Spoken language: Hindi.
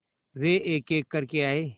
वे एकएक करके आए